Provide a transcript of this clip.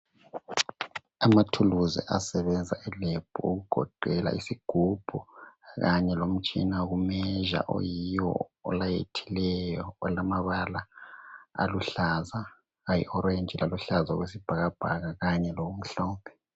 Amathuluzi asebenza elebhu okugoqela isigubhu, kanye lomtshina wokumezha. Oyiwo olayithileyo, olamabala aluhlaza, lalithanga laluhlaza okwesibhakabhaka kanye lokumhlophe.